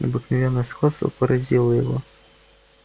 необыкновенное сходство поразило его